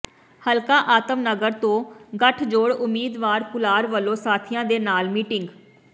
ਹਲਕਾ ਆਤਮ ਨਗਰ ਤੋਂ ਗਠਜੋੜ ਉਮੀਦਵਾਰ ਕੁਲਾਰ ਵੱਲੋਂ ਸਾਥੀਆਂ ਦੇ ਨਾਲ ਮੀਟਿੰਗ